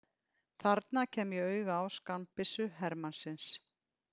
Þarna kem ég auga á skammbyssu hermannsins.